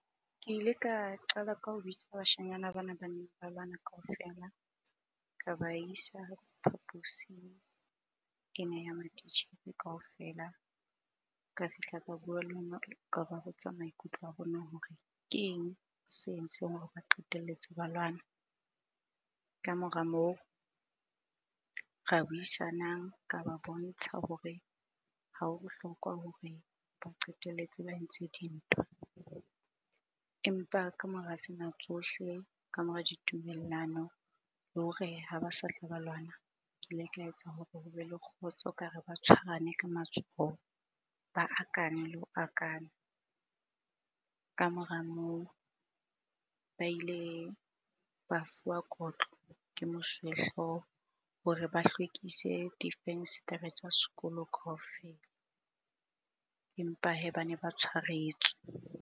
Ke ile ka qala ka ho bitsa bashanyana bana ba ne ba lwana kaofela ka ba isa phaposing ena ya matitjhere kaofela. Ka fihla ka bua ka ba botsa maikutlo a bona hore ke eng se entseng hore ba qetelletse ba lwana? Kamora moo, ra buisanang ka ba bontsha hore ha ho bohlokwa hore ba qetelletse ba entse dintwa. Empa kamora sena tsohle, ka mora ditumellano le hore ha ba satla ba lwana. Ke le ka etsa hore hobe le kgotso ka re, ba tshwarane ka matsoho ba akane le ho akana. Kamora moo, ba ile ba fuwa kotlo ke mosuwehlooho hore ba hlwekise difenstere tsa sekolo kaofela, empa hee bane ba tshwaretswe.